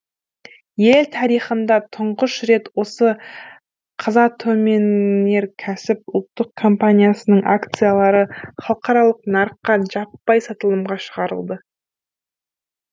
ел тарихында тұңғыш рет осы қазатомөнеррркәсіп ұлттық компаниясының акциялары халықаралық нарыққа жаппай сатылымға шығарылды